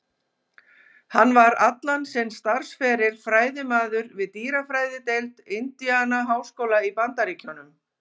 Hann var allan sinn starfsferil fræðimaður við dýrafræðideild Indiana-háskóla í Bandaríkjunum.